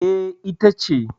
E, ita ce.